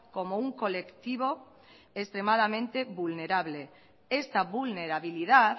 como un colectivo extremadamente vulnerable esta vulnerabilidad